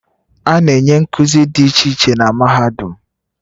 A na-enye nkuzi dị iche iche na mahadum